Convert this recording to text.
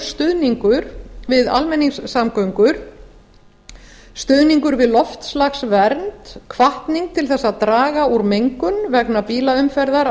stuðningur við almenningssamgöngur stuðningur við loftslagsvernd hvatning til að draga úr mengun vegna bílaumferðar á